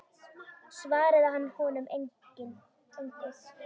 Svaraði hann honum engu.